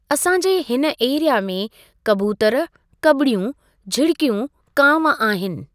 असां जे हिन एरिआ में कबूतर, कॿड़ियूं, झिड़िकियूं, कांव आहिनि।